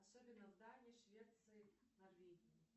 особенно в дании швеции норвегии